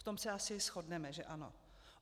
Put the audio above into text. V tom se asi shodneme, že ano?